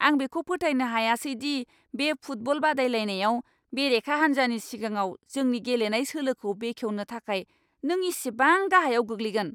आं बेखौ फोथायनो हायासै दि बे फुटबल बादायलायनायाव बेरेखा हान्जानि सिगाङाव जोंनि गेलेनाय सोलोखौ बेखेवनो थाखाय नों इसेबां गाहायाव गोग्लैगोन!